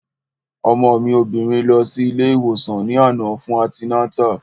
Ọmọ mi obìnrin lọ sí ilé ìwòsàn ní àná fún antinátà